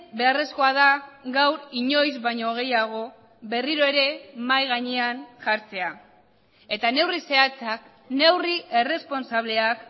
beharrezkoa da gaur inoiz baino gehiago berriro ere mahai gainean jartzea eta neurri zehatzak neurri erresponsableak